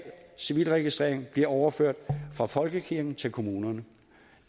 civilregistrering bliver overført fra folkekirken til kommunerne